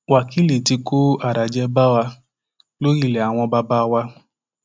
wákìlì tí kó àràjẹ bá wa lórí ilé àwọn bàbá wa